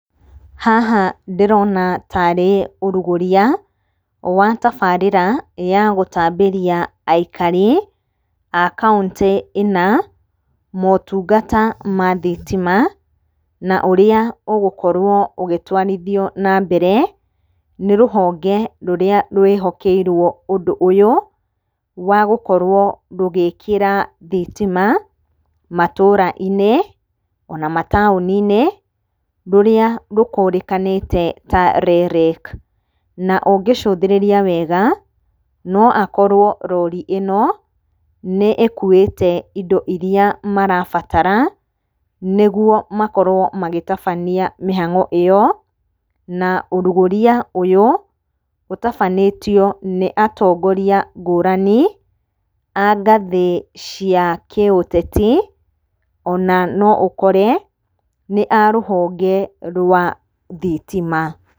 Haha ndĩrona tarĩ ũrugũria, wa tabarĩra ya gũtambĩria aikari a kauntĩ ĩna, motungata ma thitima. Na ũrĩa ũgũkorwo ũgĩtwarithio na mbere, nĩ rũhonge rũrĩa rwĩhokeirwo ũndũ ũyũ, wa gũkorwo rũgĩkĩra thitima matũra-inĩ, ona mataũni-nĩ, rũrĩa rũkũrĩkanĩte ta REREC. Na ũngĩcũthĩrĩria wega, noakorwo rori ĩno nĩ-ĩkuĩte indo iria marabatara nĩguo makorwo magĩtabania mĩhang'o ĩo. Na ũrugũria ũyũ ũtabanĩtio nĩ atongoria ngũrani, a ngathĩ cia kĩũteti, ona noũkore nĩ a rũhonge rwa thitima.